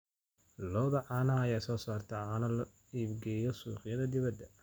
Lo'da caanaha ayaa soo saarta caano loo iibgeeyo suuqyada dibadda.